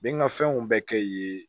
N bɛ n ka fɛnw bɛɛ kɛ yen yen